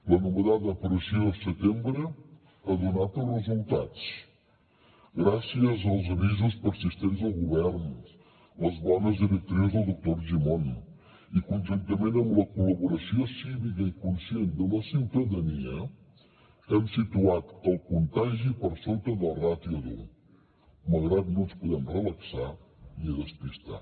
l’anomenada pressió setembre ha donat els resultats gràcies als avisos persistents del govern les bones directrius del doctor argimon i conjuntament amb la col·laboració cívica i conscient de la ciutadania hem situat el contagi per sota del ràtio d’un malgrat no ens podem relaxar ni despistar